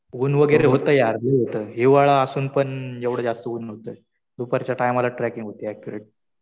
ऊन वगैरे होतं यार. हिवाळा असून पण एवढं जास्त ऊन होतं. दुपारच्या टायमाला ट्रॅकिंग होती ऍक्युरेट.